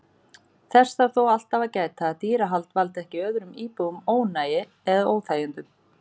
Þess þarf þó alltaf að gæta að dýrahald valdi ekki öðrum íbúum ónæði eða óþægindum.